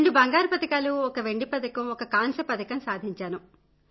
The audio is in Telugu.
రెండు బంగారు పతకాలూ ఒక వెండి పతకం ఒక కాంస్య పతకం సాధించాను